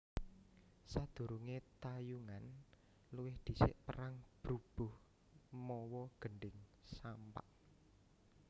Sadhurunge tayungan luwih dhisik perang brubuh mawa gendhing sampak